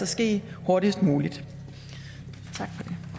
ske hurtigst muligt tak